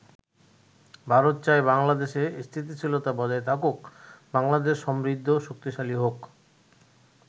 ভারত চায় বাংলাদেশে স্থিতিশীলতা বজায় থাকুক, বাংলাদেশ সমৃদ্ধ ও শক্তিশালীহোক।